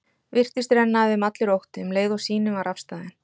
Virtist renna af þeim allur ótti, um leið og sýnin var afstaðin.